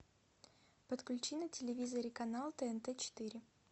подключи на телевизоре канал тнт четыре